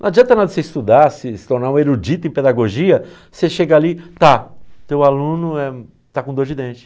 Não adianta nada você estudar, se se tornar um erudito em pedagogia, você chega ali, tá, teu aluno eh está com dor de dente.